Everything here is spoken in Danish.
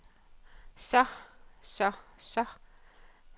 så så så